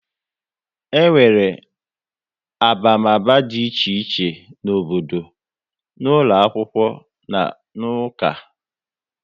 E nwere abamaba dị iche iche n'obodo, n'ụlọ akwụkwọ na n'uka